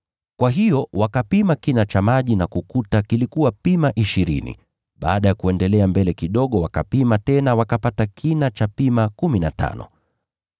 Kwa hiyo wakapima kina cha maji na kukuta kilikuwa pima ishirini, baada ya kuendelea mbele kidogo wakapima tena wakapata kina cha pima kumi na tano.